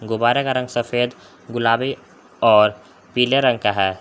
गुब्बारे का रंग सफेद गुलाबी और पीले रंग का है।